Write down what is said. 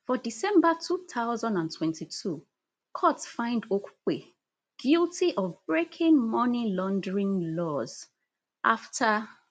for december two thousand and twenty-two court find okupe guilty of breaking money laundering laws afta